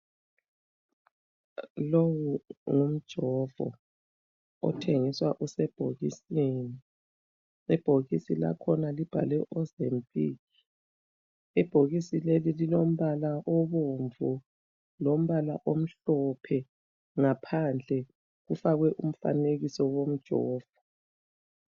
Lowu ngumjovo othengiswa usebhokisini. Ibhokisi lakhona libhalwe ozempic. Ibhokisi leli lilombala obomvu. Lombala omhlophe. Ngaphandle kufakwe umfanekiso womjovo.